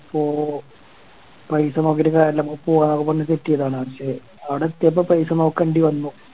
അപ്പൊ പൈസ നോക്കിട്ട് കാര്യല്ല പൂവന്നൊക്കെ പറഞ്ഞ് Set ചെയ്തതാണ് പക്ഷെ അവിടെ എത്തിയപ്പോ പൈസ നോക്കണ്ടി വന്നു